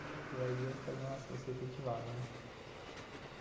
Aí eu falei, nossa, vou ser efetivado, né?